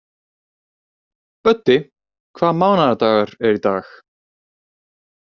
Böddi, hvaða mánaðardagur er í dag?